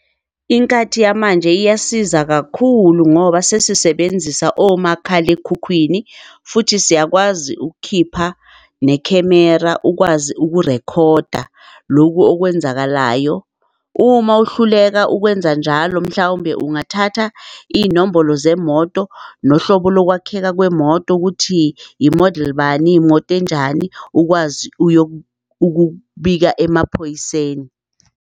Inkathi yamanje iyasiza kakhulu ngoba sesisebenzisa omakhalekhukhwini futhi siyakwazi ukukhipha nekhemera ukwazi ukurekhoda loku okwenzakalayo. Uma uhluleka ukwenza njalo, mhlawumbe ungathatha iy'nombolo zemoto nohlobo lokwakheka kwemoto ukuthi i-model bani imoto enjani ukwazi ukubika emaphoyiseni.